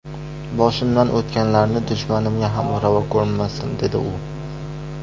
Boshimdan o‘tganlarini dushmanimga ham ravo ko‘rmasdim”, dedi u.